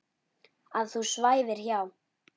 Að þú svæfir hjá.